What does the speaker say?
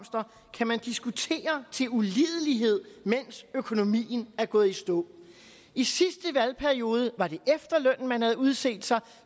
kan man diskutere til ulidelighed mens økonomien er gået i stå i sidste valgperiode var det efterlønnen man havde udset sig